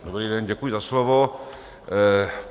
Dobrý den, děkuji za slovo.